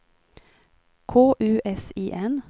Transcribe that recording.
K U S I N